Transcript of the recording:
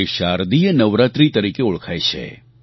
તે શારદીય નવરાત્રિ તરીકે ઓળખાય છે